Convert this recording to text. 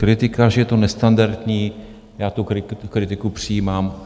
Kritika, že je to nestandardní - já tu kritiku přijímám.